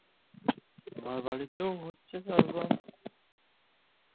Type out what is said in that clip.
আমার বাড়িতেও হচ্ছে চাষবাস,